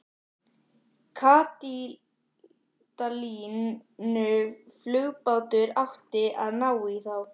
Katalínuflugbátur átti að ná í þá.